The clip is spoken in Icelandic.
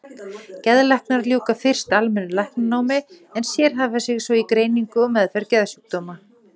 Geðlæknar ljúka fyrst almennu læknanámi en sérhæfa sig svo í greiningu og meðferð geðsjúkdóma.